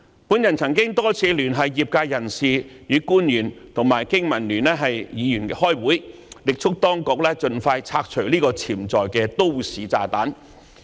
我曾多次聯繫業界人士及官員與經民聯議員開會，力促當局盡快拆除這個潛在的都市炸彈。